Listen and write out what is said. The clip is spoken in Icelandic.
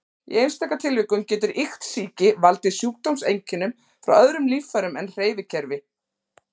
Í einstaka tilvikum getur iktsýki valdið sjúkdómseinkennum frá öðrum líffærum en hreyfikerfi.